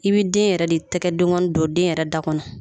I bɛ den yɛrɛ de tɛgɛdenkɔni don den yɛrɛ da kɔnɔ